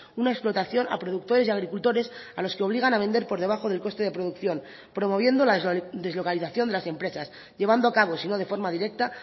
una explotación a productores y agricultores a los que obligan a vender por debajo del coste de producción promoviendo la deslocalización de las empresas llevando acabo sino de forma directa